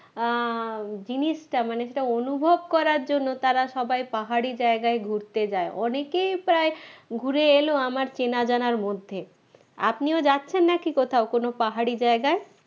আহ জিনিসটা মানে সেটা অনুভব করার জন্য তারা সবাই পাহাড়ি জায়গায় ঘুরতে যায় অনেকেই প্রায় ঘুরে এলো আমার চেনা জানার মধ্যে আপনিঝ যাচ্ছেন নাকি কোথাও কোন পাহাড়ি জায়গায়?